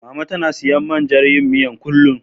Mama tana siyan man jan yin miyar, kullum.